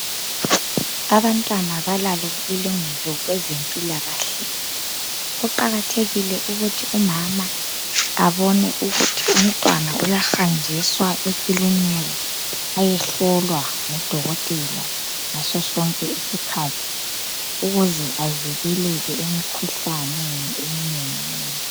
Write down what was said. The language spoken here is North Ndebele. Abantwana balalo ilungelo kwezempilakahle. Kuqakathekile ukuthi umama abone ukuthi umntwana uyahanjiswa ekilinika ayehlolwa ngodokotela ngaso sonke isikhathi ukuze avikeleke emikhuhlaneni eminenginengi